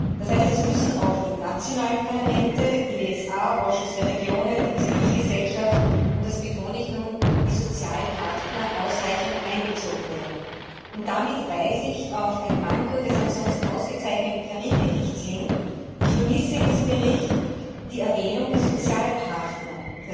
Das heißt, es müssen auch die nationalen Parlamente, der EWSA, der Ausschuss der Regionen, die Zivilgesellschaft und das betone ich nun die Sozialpartner ausreichend einbezogen werden. Damit weise ich auf ein Manko des ansonsten ausgezeichneten Berichts Karim hin Ich vermisse in diesem Bericht die Erwähnung der Sozialpartner.